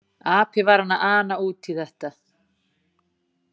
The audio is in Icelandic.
Api var hann að fara að ana út í þetta!